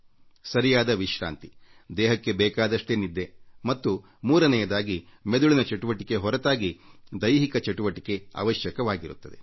ಸೂಕ್ತ ವಿಶ್ರಾಂತಿ ದೇಹಕ್ಕೆ ಬೇಕಾದಷ್ಟೇ ನಿದ್ದೆ ಮತ್ತು 3 ನೆಯದಾಗಿ ಮೆದುಳಿನ ಚಟುವಟಿಕೆ ಹೊರತಾಗಿ ದೈಹಿಕ ಚಟುವಟಿಕೆ ಅವಶ್ಯಕವಾಗಿರುತ್ತದೆ